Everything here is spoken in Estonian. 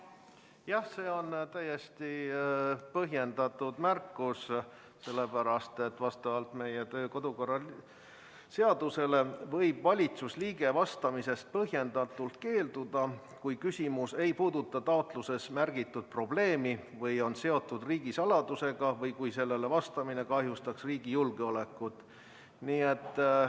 Jah, see on täiesti põhjendatud märkus, sellepärast et vastavalt meie kodu- ja töökorra seadusele võib valitsusliige vastamisest põhjendatult keelduda, kui küsimus ei puuduta taotluses märgitud probleemi või on seotud riigisaladusega või kui sellele vastamine kahjustaks riigi julgeolekut.